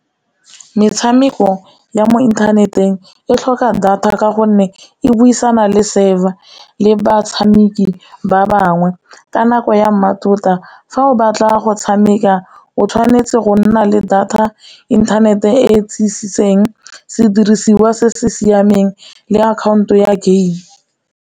Metshameko ya mo inthaneteng e tlhoka data ka gonne e buisana le server le batshameki ba bangwe ka nako ya mmatota fa o batla go tshameka o tshwanetse go nna le data, inthanete e tiisiseng, sedirisiwa se se siameng le akhaonto ya game.